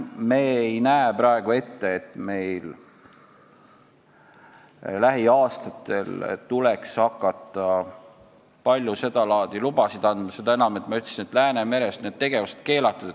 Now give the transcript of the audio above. Me ei näe praegu ette, et meil tuleks lähiaastatel hakata palju sedalaadi lubasid andma, seda enam, et, nagu ma ütlesin, Läänemeres on need tegevused keelatud.